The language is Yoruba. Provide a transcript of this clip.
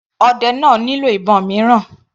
Ọdẹ náà nílò ìbọn mìíràn.